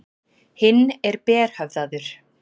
Hinn er berhöfðaður.